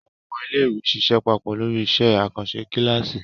Àwọn ọmọ iléèwé ṣiṣẹ́ papọ̀ lórí iṣẹ́ àkànṣe kíláàsì